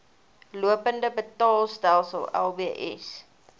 lopende betaalstelsel lbs